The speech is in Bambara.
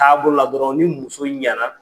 Taabo la dɔrɔn ni muso ɲɛna